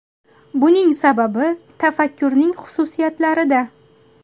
Buning sababi tafakkurning xususiyatlarida.